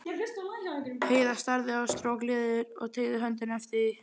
Heiða starði á strokleðrið og teygði höndina eftir því.